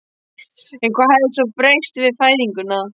En hvað hafði svo breyst við fæðinguna?